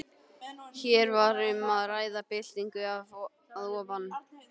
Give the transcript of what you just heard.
Hér var um að ræða byltingu að ofan.